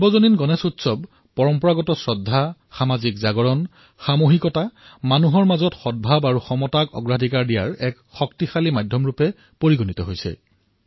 সাৰ্বজনিক গণেশ উৎসৱ পৰম্পৰাগত শ্ৰদ্ধা আৰু উৎসৱৰ সৈতে সমাজ জাগৰণ সামুহিকতা জনতাৰ মাজত সমতাৰ ভাৱ জাগ্ৰত কৰাৰ বাবে ই এক প্ৰভাৱী মাধ্যম হিচাপে বিবেচিত হৈছিল